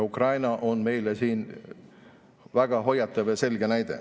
Ukraina on meile siin väga hoiatav ja selge näide.